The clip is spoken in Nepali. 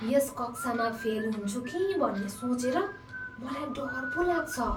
यस कक्षामा फेल हुन्छु कि भन्ने सोचेर मलाई डर पो लाग्छ।